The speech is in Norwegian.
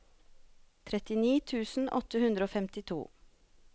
trettini tusen åtte hundre og femtito